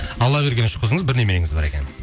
алла берген үш қызыңыз бір немереңіз бар екен